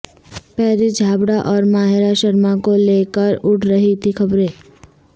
پارس چھابڑا اور ماہرہ شرما کو لے کر اڑ رہی تھیں خبریں